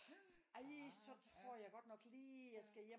Ej så tror jeg godt nok lige at jeg skal hjem